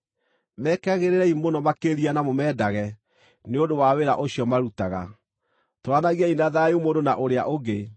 Mekagĩrĩrei mũno makĩria na mũmendage nĩ ũndũ wa wĩra ũcio marutaga. Tũũranagiai na thayũ mũndũ na ũrĩa ũngĩ.